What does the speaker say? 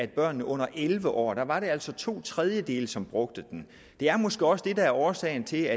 børnene under elleve år var der altså to tredjedele som brugte den det er måske også det der er årsagen til